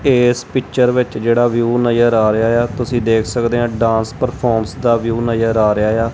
ਏਸ ਪਿਕਚਰ ਵਿਚ ਜੇਹੜਾ ਵਿਊ ਨਜ਼ਰ ਆ ਰਿਹਾਯਾ ਤੁਸੀ ਦੇਖ ਸਕਦੇਆ ਡਾਂਸ ਪ੍ਰਫੋਰਮੈਂਸ ਦਾ ਵਿਊ ਨਜ਼ਰ ਆ ਰਿਹਾਯਾ।